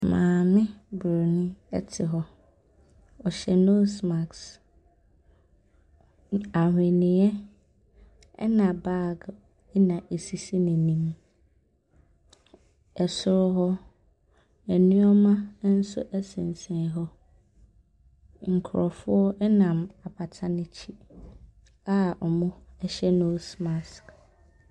Maame Buronin te hɔ. Ɔhyɛ nose mask. N ahweneɛ, ɛna bag na ɛsisi n'anim. Soro hɔ, nneɛma nso sensɛn hɔ. Nkurɔfoɔ nam apata no akyi a wɔhyɛ nose mask.